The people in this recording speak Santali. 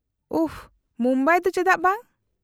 -ᱩᱯᱷ , ᱢᱩᱢᱵᱟᱭ ᱫᱚ ᱪᱮᱫᱟᱜ ᱵᱟᱝ ?